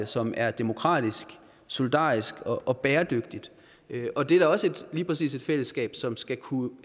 som er demokratisk solidarisk og bæredygtigt og det er da også lige præcis et fællesskab som skal kunne